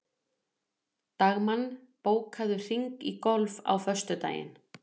Dagmann, bókaðu hring í golf á föstudaginn.